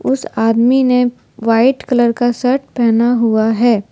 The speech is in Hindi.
उस आदमी ने व्हाइट कलर का शर्ट पहना हुआ है।